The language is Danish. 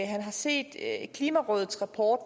han har set klimarådets rapport